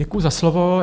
Děkuji za slovo.